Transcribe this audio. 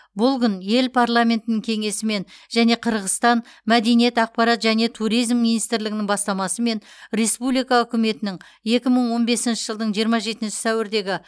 бұл күн ел парламентінің кеңесімен және қырғызстан мәдениет ақпарат және туризм министрлігінің бастамасымен республика үкіметінің екі мың он бесінші жылдың жиырма жетінші сәуірдегі